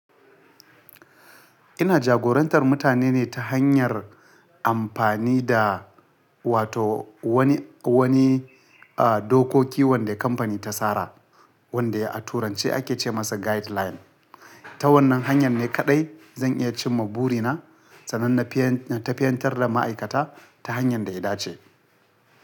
Ina jagorantar mutane ne ta hanyar amfani da wato wani, wani, uh, dokoki wanda kamfani ta tsara wanda a turanci ake ce masa guideline. Ta wannan hanya ne kaɗai zan iya cimma burina, sananne fiyan-- ta fiyantar da ma'aikata ta hanyar da ya dace.